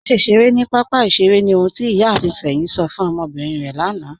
Màṣẹ ṣeré ni papa ìṣẹ̀rè ni ọ̀hun tí Iyààfin Feyin sọ̀ fún ọmọbírín rẹ lànà.